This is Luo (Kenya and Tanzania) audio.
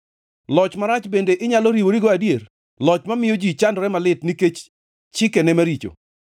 Loch marach bende inyalo riworigo adier, loch mamiyo ji chandore malit nikech chikene maricho?